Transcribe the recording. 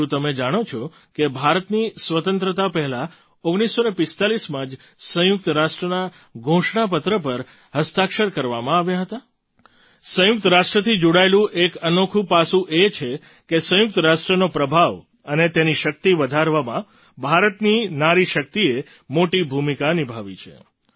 શું તમે જાણો છો કે ભારતની સ્વતંત્રતા પહેલાં 1945માં જ સંયુક્ત રાષ્ટ્રના ઘોષણા પત્ર પર હસ્તાક્ષર કરવામાં આવ્યા હતા સંયુક્ત રાષ્ટ્રથી જોડાયેલું એક અનોખું પાસું એ છે કે સંયુક્ત રાષ્ટ્રનો પ્રભાવ અને તેની શક્તિ વધારવામાં ભારતની નારી શક્તિએ મોટી ભૂમિકા નિભાવી છે